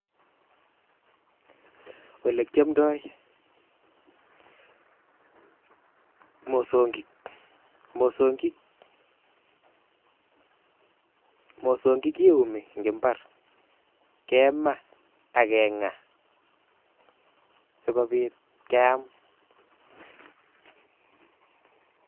Olee kiomndoi mosong'ik, mosong'ik kiumi en imbar, kemaa ak keng'a sikobit keyam.